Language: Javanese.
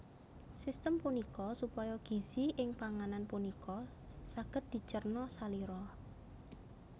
Sistem punika supaya gizi ing panganan punika saged dicerna salira